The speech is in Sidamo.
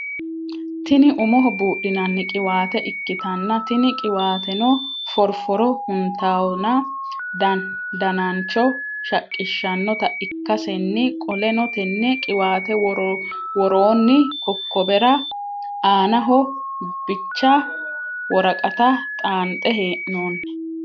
Tini umoho buudhinani qiwaate ikkitanna tini qiwaateno forfore huntaawonna dananicho shaqqiahahannota ikkasenniqoleno tenne qiwaate woroonni kokobera anaho bicha woraqata xaanxe heenoonni